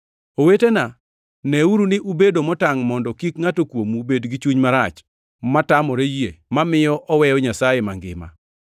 Owetena neuru ni ubedo motangʼ mondo kik ngʼato kuomu bed gi chuny marach motamore yie mamiyo oweyo Nyasaye mangima.